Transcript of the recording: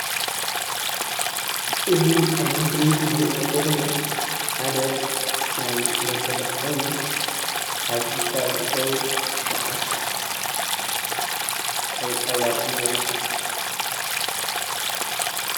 እዚ ኣብ ምስሊ እንሪኦ ዘለና ሓደ ናይ መጋየፂ ኮይኑ ኣብ ኢድካ ዝእሰሩ ሰዓት ኣብ ጣውላ እንአዉ፡፡